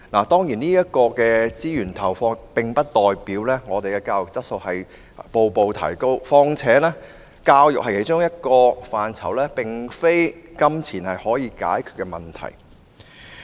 當然，資源的投放並不代表教育質素逐步提高，況且教育是其中一個並非金錢可以解決問題的範疇。